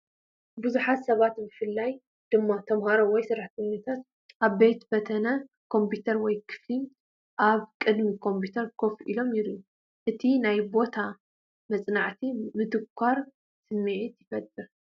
ብዙሓት ሰባት ብፍላይ ድማ ተማሃሮ ወይ ሰራሕተኛታት ኣብ ቤተ-ፈተነ ኮምፒተር ወይ ክፍሊ ኣብ ቅድሚ ኮምፒዩተር ኮፍ ኢሎም ይረኣዩ። እቲ ቦታ ናይ መጽናዕትን ምትኳርን ስምዒት ይፈጥር።